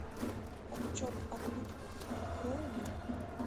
отчет о пытках открой мне